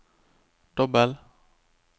dobbel